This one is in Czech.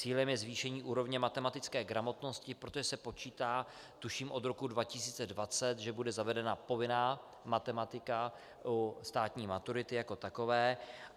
Cílem je zvýšení úrovně matematické gramotnosti, protože se počítá, tuším od roku 2020, že bude zavedena povinná matematika u státní maturity jako takové.